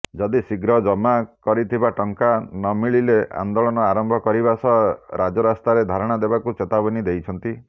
ଯଦି ଶୀଘ୍ର ଜମା କରିଥିବା ଟଙ୍କା ନମିଳିଲେ ଆନ୍ଦୋଳନ ଆରମ୍ଭ କରିବାସହ ରାଜରାସ୍ତାରେ ଧାରଣା ଦେବାକୁ ଚେତାବନୀ ଦେଇଛନ୍ତି